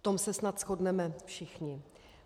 V tom se snad shodneme všichni.